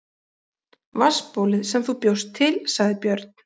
Vatnsbólið sem þú bjóst til, sagði Björn.